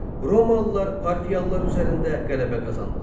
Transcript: Romalılar parfiyalılar üzərində qələbə qazandılar.